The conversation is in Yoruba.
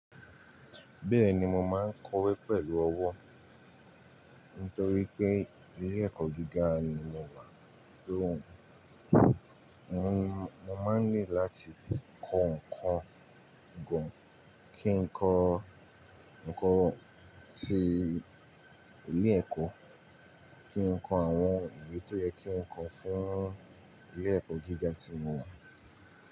Bẹ́ẹ̀ni mo máa ń kọ̀wé pẹ̀lú ọwọ́ nítorí pé ilé ẹ̀kọ́ gíga ni mo wà. So mo máa ń need láti kọ nǹkan gan kí n kọ nǹkan ti ilé ẹ̀kọ́, kí n kọ àwọn ìwé tó yẹ kí n kọ fún ilé ẹ̀kọ́ gíga tí mo wà.